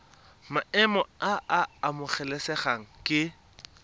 maemo a a amogelesegang ke